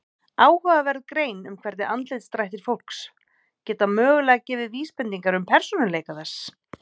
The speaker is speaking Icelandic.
Áhugaverð grein um hvernig andlitsdrættir fólks geta mögulega gefið vísbendingar um persónuleika þess.